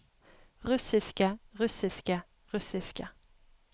russiske russiske russiske